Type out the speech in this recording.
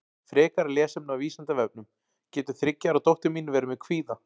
Frekara lesefni á Vísindavefnum Getur þriggja ára dóttir mín verið með kvíða?